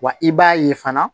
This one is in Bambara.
Wa i b'a ye fana